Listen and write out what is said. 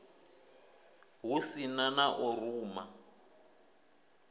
hu si na u ruma